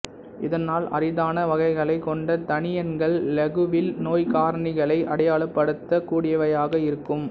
இதனால் அரிதான வகைகளைக் கொண்ட தனியன்கள் இலகுவில் நோய்க்காரணிகளை அடையாளப்படுத்தக் கூடியவையாக இருக்கும்